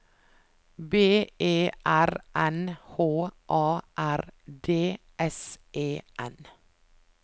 B E R N H A R D S E N